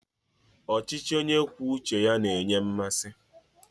Ọchịchị onye kwuo uche ya na-enye m mmasị.